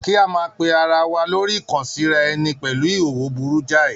Kí a máa pe ara wa lórí kàn-síra ẹni pẹ̀lú ìhòòhò burú jáì